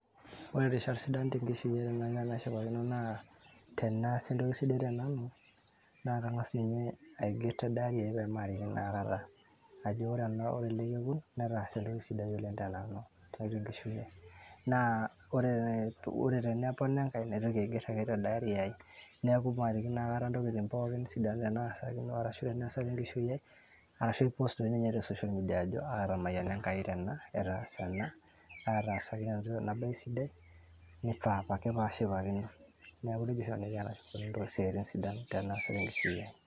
ore irishat sidan tenkishui ai enaiko enashipakino naa teneasa entoki sidai tenanu naa kang'as ninye aigerr te diary ai peemarikino akata ajo ore ena, ore ele kekun netaase entoki sidai oleng tenanu tiatua enkishui ai naa ore tenepona enkae naitoki ake aigerr ake te diary ai neeku marikino aikata intokitin pookin sidan tenaasakino arashu tenesa tenkishui ai arashu ae post toi ninye te social media ajo atamayiana Enkai tena etaasa ena atasaka ena baye sidai nifaa apake pashipakino neeku nejia oshi nanu aiko tenashipakino isiaitin sidan teneesa tenkishui ai.